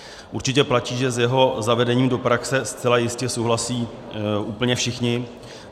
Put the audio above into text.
Určitě platí, že s jeho zavedením do praxe zcela jistě souhlasí úplně všichni.